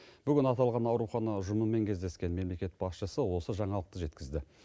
бүгін аталған аурухана ұжымымен кездескен мемлекет басшысы осы жаңалықты жеткізді